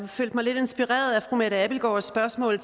følte mig lidt inspireret af fru mette abildgaards spørgsmål